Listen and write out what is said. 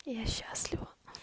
я счастлива